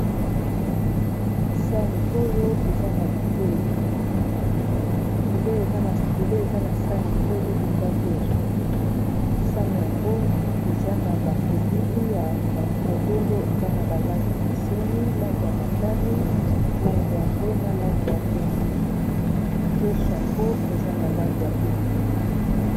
Sani Oyo eza na bileyi. bileyi bileyi eza na sani oyo eza loso ,sani yango eza na ba elili ya ba fololo eza na balangi ekeseni langi ya motani, langi ya mbwe, na langi ya pembe loso yango eza na langi ya pembe.